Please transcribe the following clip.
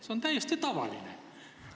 See on täiesti tavaline punkt.